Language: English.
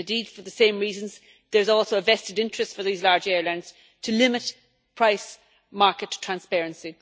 And for the same reasons there is also a vested interest for these large airlines to limit price market transparency.